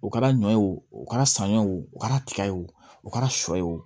O kɛra ɲɔ ye o o kɛra saɲɔ o kɛra tiga ye o kɛra sɔ ye o